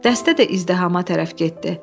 Dəstə də izdihama tərəf getdi.